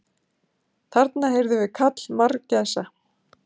Þarna heyrðum við kall margæsa.